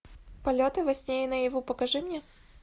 полеты во сне и наяву покажи мне